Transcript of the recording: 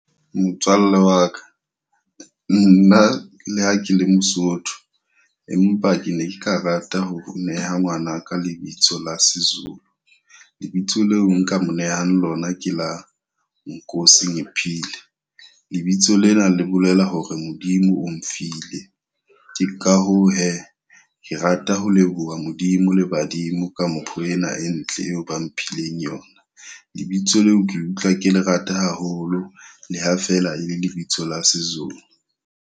Motswalle wa ka, nna le ha ke le Mosotho, empa ke ne ke ka rata ho neha ngwanaka lebitso la seZulu. Lebitso leo nka mo nehang lona, ke la Nkosingiphile. Lebitso lena le bolela hore Modimo o mfile. Ke ka hoo he ke rata ho leboha Modimo le badimo ka mpho ena e ntle eo ba mphileng yona. Lebitso leo ke utlwa ke le rata haholo. Le ha fela e le lebitso la seZulu.